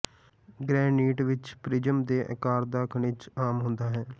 granite ਵਿੱਚ prism ਦੇ ਅਕਾਰ ਦਾ ਖਣਿਜ ਆਮ ਹੁੰਦਾ ਹੈ